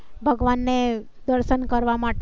ભગવાન ને દર્શન કરવા માટે